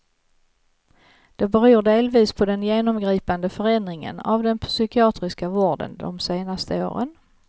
Det beror delvis på den genomgripande förändringen av den psykiatriska vården de senaste åren.